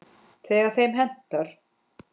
Þegar þeim hentar.